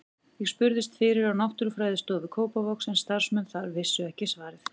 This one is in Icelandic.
Ég spurðist fyrir á Náttúrufræðistofu Kópavogs en starfsmenn þar vissu ekki svarið.